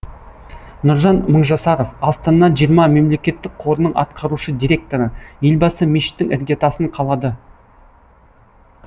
нұржан мыңжасаров астана жиырма мемлекеттік қорының атқарушы директоры елбасы мешіттің іргетасын қалады